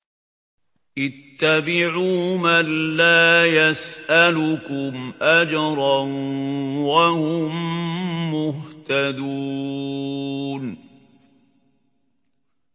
اتَّبِعُوا مَن لَّا يَسْأَلُكُمْ أَجْرًا وَهُم مُّهْتَدُونَ